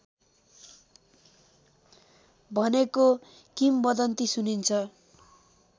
भनेको किमबदन्ती सुनिन्छ